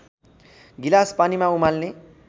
गिलास पानीमा उमाल्ने